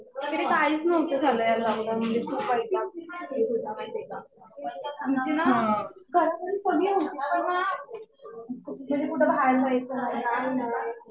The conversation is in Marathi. आमच्या कडे काहीच नव्हतं झालं या लॉक डाऊन मध्ये. खूप वाईट वाटत होतं माहितीये का. आमचे ना घरापर्यंत कुणी नव्हतं. पण ना घरी कुठं बाहेर जायचं नाही काही नाही.